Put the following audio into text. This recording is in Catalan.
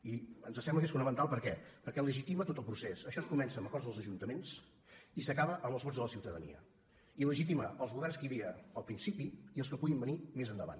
i ens sembla que és fonamental per què perquè legitima tot el procés això es comença amb acords dels ajuntaments i s’acaba amb els vots de la ciutadania i legitima els governs que hi havia al principi i els que puguin venir més endavant